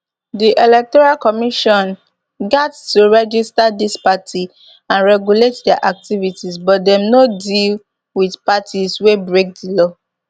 di electoral commission gat to register dis parties and regulate dia activities but dem no deal wit parties wia break di law